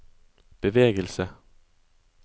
bevegelse